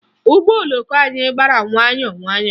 Ụgbọ oloko anyị gbara nwayọọ nwayọọ